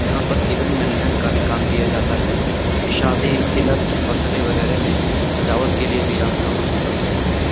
यहाँ पर event management का भी काम किया जाता है शादी तिलक बर्थडे वगैरा में सजावट के लिए भी आप यहाँ पर संपर्क कर सकते हैं।